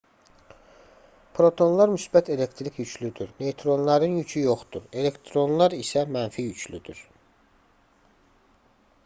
protonlar müsbət elektrik yüklüdür neytronların yükü yoxdur elektronlar isə mənfi yüklüdür